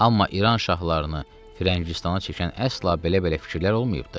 Amma İran şahlarını Firəngistana çəkən əsla belə-belə fikirlər olmayıbdı.